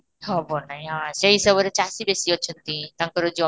ହବ ନାଇଁ ହଁ ସେଇ ହିସାବରେ ଚାଷୀ ବେଶି ଅଛନ୍ତି ତାଙ୍କର ଜମି